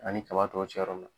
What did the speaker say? Ani kaba tɔw cɛ yɔrɔ mun na .